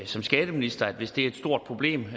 som skatteminister at hvis det er et stort problem